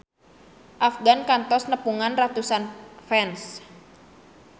Afgan kantos nepungan ratusan fans